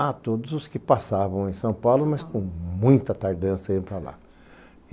a todos os que passavam em São Paulo, mas com muita tardança iam para lá.